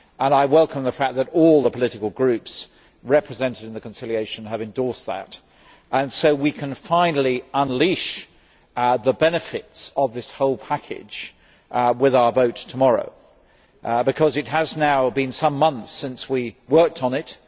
I welcome the fact that all the political groups represented in the conciliation have endorsed the text and that we can finally unleash the benefits of this whole package with our vote tomorrow, because it has now been some months since we worked on it.